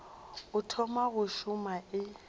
o thoma go šoma e